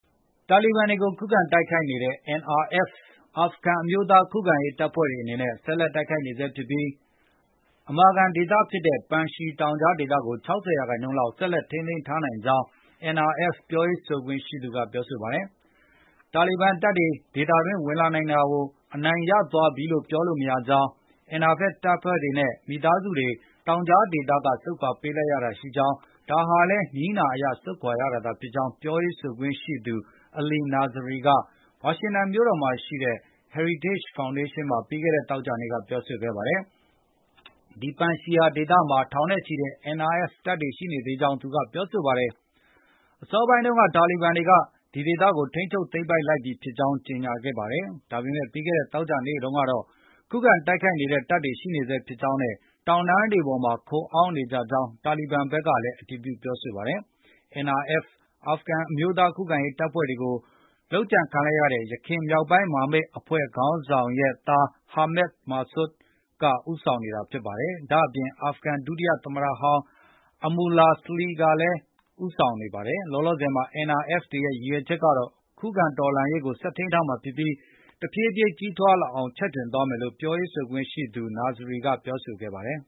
တာလီဘန်တွေကို ခုခံတိုက်ခိုက်နေတဲ့ NRF အာဖဂန်အမျိုးသားခုခံရေးတပ်ဖွဲ့တွေ အနေနဲ့ ဆက်လက်တိုက်ခိုက်နေဆဲဖြစ်ပြီး အမာခံဒေသဖြစ်တဲ့ ပန်ရှီ တောင်ကြားဒေသကို ၆၀ ရာခိုင်နှုန်းလောက် ဆက်လက်ထိန်းထားနိုင်ကြောင်း NRF ပြောရေးဆိုခွင့်ရှိသူက ပြောဆိုပါတယ်။ တာလီဘန်တပ်တွေ ဒေသတွင်း ဝင်လာနိုင်တာကို အနိုင်ရသွားပြီလို့ ပြောလို့မရကြောင်း၊ NRF တပ်တွေနဲ့ မိသားစုတွေ တောင်ကြားဒေသက ဆုတ်ခွါပေးလိုက်ရတာရှိကြောင်း၊ ဒါဟာလည်း နည်းနာအရ ဆုတ်ခွါရတာသာဖြစ်ကြောင်း ပြောရေးဆိုခွင့်ရှိသူ Ali Nazary က ဝါရှင်တန်မြို့တော်မှာရှိတဲ့ Heritage Foundation မှာ ပြီးခဲ့တဲ့ သောကြာနေ့က ပြောဆိုခဲ့ပါတယ်။ ဒီ ပန်ရှီဒေသမှာ ထောင်နဲ့ချီတဲ့ NRF တပ်တွေ ရှိနေဆဲဖြစ်ကြောင်း သူက ပြောဆိုပါတယ်။ အစောပိုင်းတုန်းက တာလီဘန်တွေက ဒီဒေသကို ထိန်းချုပ်သိမ်းပိုက်လိုက်ပြီဖြစ်ကြောင်း ကြေညာခဲ့ပါတယ်။ ဒါပေမယ့် ပြီးခဲ့တဲ့ သောကြာနေ့တုန်းကတော့ ခုခံတိုက်ခိုက်နေတဲ့တပ်တွေ ရှိနေဆဲဖြစ်ကြောင်းနဲ့ တောင်တန်းတွေပေါ်မှာ ခိုအောင်းနေကြကြောင်း တာလီဘန်ဘက်ကလည်း အတည်ပြု ပြောဆိုပါတယ်။ NRF အာဖဂန်အမျိုးသားခုခံရေးတပ်ဖွဲ့တွေကို လုပ်ကြံခံလိုက်ရတဲ့ ယခင် မြောက်ပိုင်း မဟာမိတ်အဖွဲ့ခေါင်းဆောင်ရဲ့သား Ahmad Massoud က ဦးဆောင်နေတာပါ။ ဒါ့အပြင် အာဖဂန် ဒုတိယသမ္မတဟောင်း Amurlah Saleh ကလည်း ဦးဆောင်ပါဝင်ပါတယ်။ လောလောဆယ်မှာ NRF တွေရဲ့ ရည်ရွယ်ချက်ကတော့ ခုခံတော်လှန်ရေးကို ဆက်ထိန်းထားမှာဖြစ်ပြီး တဖြည်းဖြည်း ကြီးထွားလာအောင် ချဲ့ထွင်သွားမယ်လို့ ပြောခွင့်ရှိသူ Nazary က ပြောဆိုခဲ့ပါတယ်